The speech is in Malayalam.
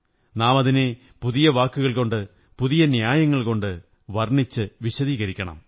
നാം അതിനെ പുതിയ വാക്കുകള്കൊകണ്ട് പുതിയ ന്യായങ്ങള്കൊനണ്ട് വര്ണ്ണിടച്ചു വിശദീകരിക്കണം